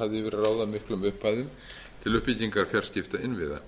að ráða miklum upphæðum til uppbyggingar fjarskiptainnviða